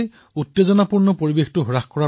উত্তাল পৰিবেশ শান্ত কৰাৰ প্ৰয়াস